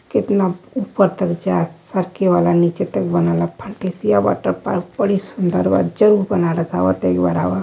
कितना ऊपर तक जात सरके वाला नीचे तक बनेला फंटेसिया वॉटर पार्क बड़े सुंदर बा जरूर बनारस आव तो एक बार आव --